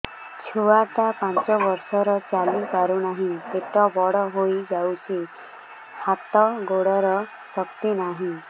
ଛୁଆଟା ପାଞ୍ଚ ବର୍ଷର ଚାଲି ପାରୁନାହଁ ପେଟ ବଡ ହୋଇ ଯାଉଛି ହାତ ଗୋଡ଼ର ଶକ୍ତି ନାହିଁ